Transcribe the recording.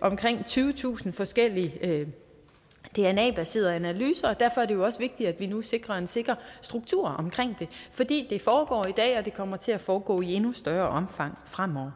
omkring tyvetusind forskellige dna baserede analyser og derfor er det også vigtigt at vi nu sikrer en sikker struktur omkring det fordi det foregår i dag og det kommer til at foregår i endnu større omfang fremover